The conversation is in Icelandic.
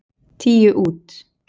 Tíu út.